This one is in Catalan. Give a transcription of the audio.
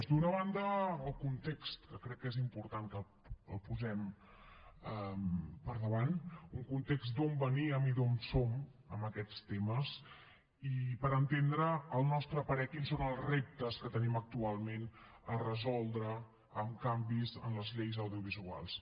d’una banda el context que crec que és important que el posem per davant un context d’on veníem i d’on som amb aquests temes i per entendre al nostre parer quins són els reptes que tenim actualment a resoldre amb canvis en les lleis audiovisuals